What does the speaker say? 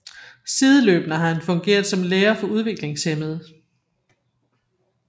Sideløbende har han fungeret som lærer for udviklingshæmmede